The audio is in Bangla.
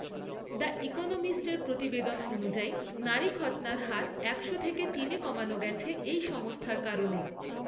দ্য ইকোনোমিস্টের প্রতিবেদন অনুযায়ী নারী খৎনার হার একশো থেকে তিনে কমানো গেছে এই সংস্থার কারণে।